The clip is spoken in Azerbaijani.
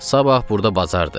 Sabah burda bazardır.